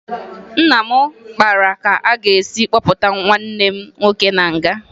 Nna m kpara ka a ga-esi kpọpụta nwanne m nwoke na nga